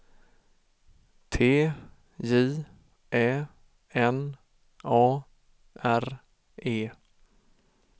T J Ä N A R E